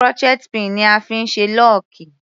Crochet pin ni a fí ń ṣe lọ́ọ̀kì.